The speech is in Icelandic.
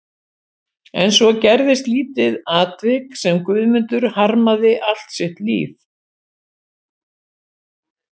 En svo gerðist lítið atvik sem Guðmundur harmaði allt sitt líf.